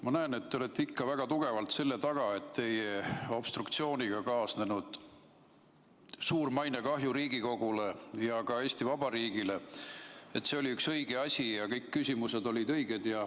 Ma näen, et te olete ikka väga tugevalt selle taga, et teie obstruktsiooniga kaasnenud suur mainekahju Riigikogule ja ka Eesti Vabariigile oli üks õige asi ja kõik küsimused olid õiged.